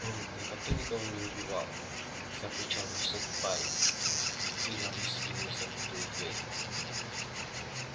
он никогда никого не убивал закричал высокий парень придавив спиной закрытую дверь